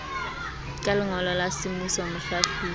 ka lengolo la semmuso mohlahlobi